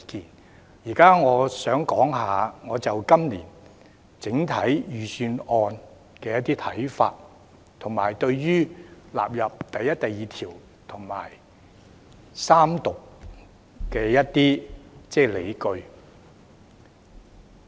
我現在想談我就今年整體預算案的一些看法，以及對於納入第1及2條和三讀的一些理據。